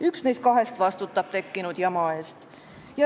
Üks neist kahest vastutab tekkinud jama eest.